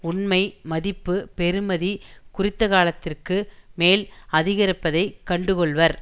உண்மை மதிப்பு பெறுமதி குறித்தகாலத்திற்கு மேல் அதிகரிப்பதைக் கண்டுகொள்வர்